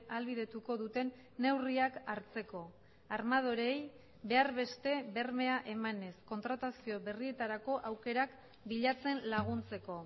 ahalbidetuko duten neurriak hartzeko armadoreei behar beste bermea emanez kontratazio berrietarako aukerak bilatzen laguntzeko